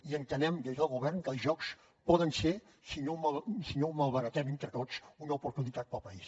i entenem des del govern que els jocs poden ser si no ho malbaratem entre tots una oportunitat per al país